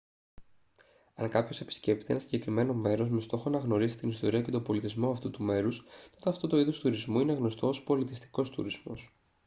αν κάποιος επισκέπτεται ένα συγκεκριμένο μέρος με στόχο να γνωρίσει την ιστορία και τον πολιτισμό αυτού του μέρους τότε αυτό το είδος τουρισμού είναι γνωστό ως πολιτιστικός τουρισμός